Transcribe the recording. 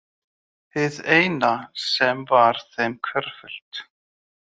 Hið eina sem var þeim hverfult.